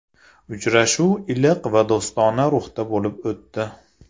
Uchrashuv iliq va do‘stona ruhda bo‘lib o‘tdi.